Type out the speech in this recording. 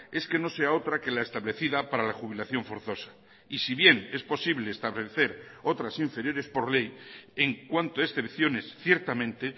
es que no sea otra que la establecida para la jubilación forzosa y si bien es posible establecer otras inferiores por ley en cuanto excepciones ciertamente